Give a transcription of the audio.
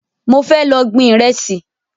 Mo fẹ́ lọ gbin Ìrẹ́sì